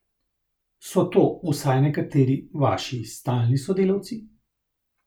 So to, vsaj nekateri, vaši stalni sodelavci?